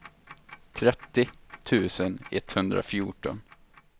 trettio tusen etthundrafjorton